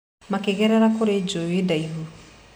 Makĩgerera kũrĩ njũĩ ndaihu